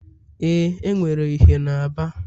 Ee, enwere ìhè na Aba